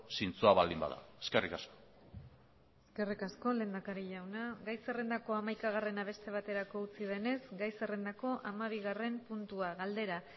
zintzoa baldin bada eskerrik asko eskerrik asko lehendakari jauna gai zerrendako hamaikagarrena beste baterako utzi denez gai zerrendako hamabigarren puntua galdera